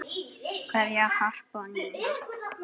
Kveðja, Harpa og Nína.